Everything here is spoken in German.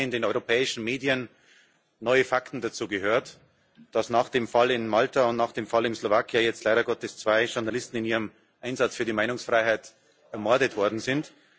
Wir haben heute in den europäischen Medien neue Fakten dazu gehört, dass nach dem Fall in Malta und nach dem Fall in der Slowakei jetzt leider Gottes zwei Journalisten in ihrem Einsatz für die Meinungsfreiheit ermordet worden sind.